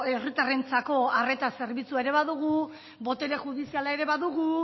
herritarrentzako arreta zerbitzua ere badugu botere judiziala ere badugu